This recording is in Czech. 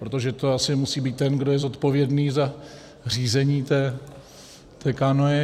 Protože to asi musí být ten, kdo je zodpovědný za řízení té kánoe.